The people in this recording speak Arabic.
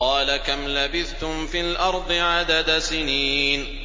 قَالَ كَمْ لَبِثْتُمْ فِي الْأَرْضِ عَدَدَ سِنِينَ